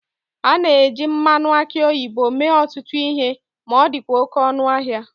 A na-eji mmanụ aki oyibo mee ọtụtụ ihe ma ọ dịkwa oke ọnụ ahịa